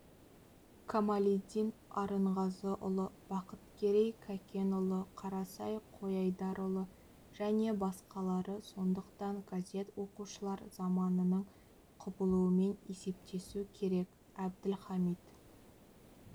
камалиддин арынғазыұлы бақыткерей кәкенұлы қарасай қойайдарұлы және басқалары сондықтан газет оқушылар заманының құбылуымен есептесу керек әбділхамит